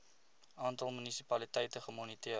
aantal munisipaliteite gemoniteer